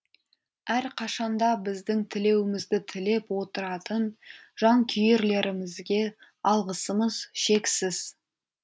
әрқашан да біздің тілеуімізді тілеп отыратын жанкүйерлерімізге алғысымыз шексіз